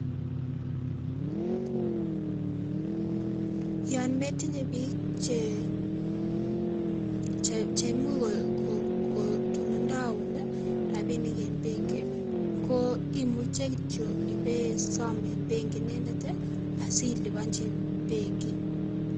Yoon metinye biik cheimuch kondeun rabinik en benki koimuche kityo ibesom en benki inendet asiliponchi benki.